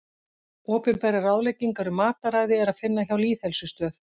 Opinberar ráðleggingar um mataræði er að finna hjá Lýðheilsustöð.